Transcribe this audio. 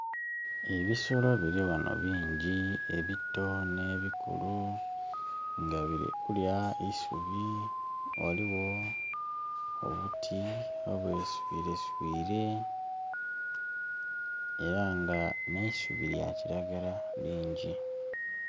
Ebisolo bili ghano bingi ebito nh'ebikulu nga bili kulya eisubi, ghaligho obuti obwe swireswire era nga nh'eisubi lya kiragala lingi.